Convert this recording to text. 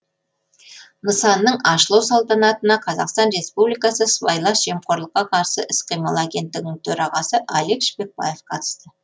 нысанның ашылу салтанатына қазақстан республикасы сыбайлас жемқорлыққа қарсы іс қимыл агенттігінің төрағасы алик шпекбаев қатысты